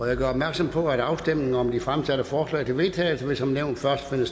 jeg gør opmærksom på at afstemningen om de fremsatte forslag til vedtagelse som nævnt først vil